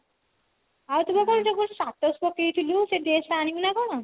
ଆଉ ତୁ କାଲି ଯୋଉ status ପକେଇ ଥିଲୁ ସେ dress ଟା ଆଣିବୁ ନା କଣ